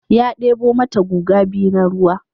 Ya ɗebo mata guga biyu na ruwa.